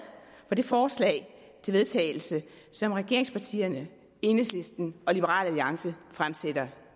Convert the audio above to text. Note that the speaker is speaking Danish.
for det forslag til vedtagelse som regeringspartierne enhedslisten og liberal alliance har fremsat her